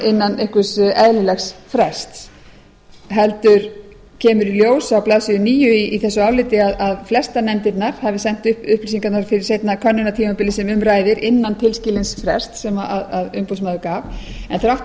innan einhvers eðlilegs frests heldur kemur í ljós á blaðsíðu níu í þessu áliti að flestar nefndirnar hafi sent upplýsingarnar til seinna könnunartímabilsins sem um ræðir innan tilskilins frests sem umboðsmaður gaf en þrátt